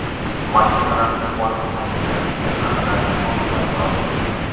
Mashinalarning olib qochilganligi haqida tasodifan ma’lum bo‘ldi.